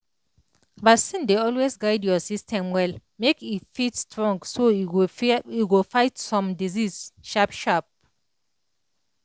vaccine dey always guide your system well make e fit strong so e go fight some disease sharp sharp